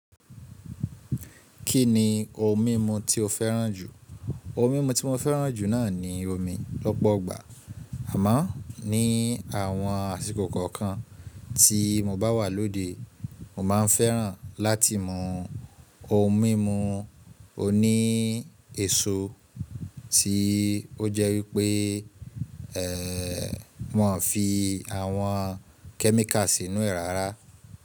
Kí ni nko mímu tí o fẹ́ràn jù? Ohun mímu tí mo fẹ́ràn jù náà ni omi lọ́pọ̀ ọgbà, àmọ́ ní àwọn àsìkò kọ̀ọ̀kan tí mo bá wà lóde, mo máa ń fẹ́ràn láti mú ohun mímu oní èso tí ó jẹ́ wípé won fi àwọn kẹ́míkà sínú è ìrora.